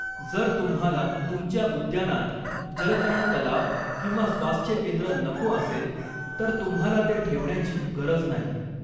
जर तुम्हाला तुमच्या उद्यानात जलतरण तलाव किंवा स्वास्थ्य केंद्र नको असेल तर तुम्हाला ते ठेवण्याची गरज नाही.